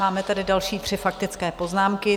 Máme tady další tři faktické poznámky.